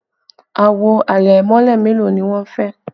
Àwo àlẹ̀mọ́lẹ̀ mélòó ni wọn fẹ́?